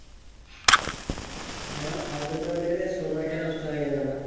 হ্যাঁ অসুবিধা বলতে গেলে সময়টা নষ্ট হয়ে যাবে আমার।